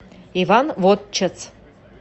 иван вотчец